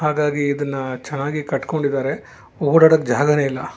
ಹಾಗಾಗಿ ಇದನ್ನ ಚೆನ್ನಾಗಿ ಕಟ್ಟಕೊಂಡಿದಾರೆ ಓಡಾಡೊಕೆ ಜಾಗಾನೆ ಇಲ್ಲ.